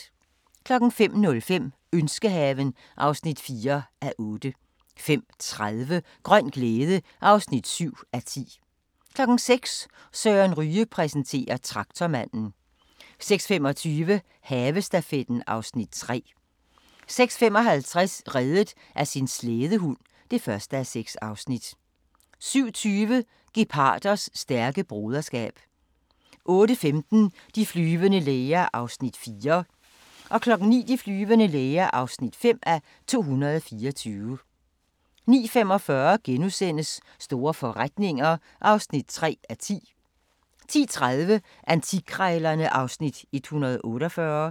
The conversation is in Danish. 05:05: Ønskehaven (4:8) 05:30: Grøn glæde (7:10) 06:00: Søren Ryge præsenterer: Traktormanden 06:25: Havestafetten (Afs. 3) 06:55: Reddet af sin slædehund (1:6) 07:20: Geparders stærke broderskab 08:15: De flyvende læger (4:224) 09:00: De flyvende læger (5:224) 09:45: Store forretninger (3:10)* 10:30: Antikkrejlerne (Afs. 148)